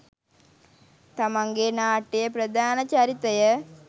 තමන්ගේ නාට්‍යයේ ප්‍රධාන චරිතය